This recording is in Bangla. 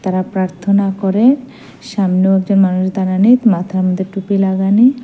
তারা প্রার্থনা করে সামনেও একজন মানুষ দাঁড়ানি মাথার মধ্যে টুপি লাগানি।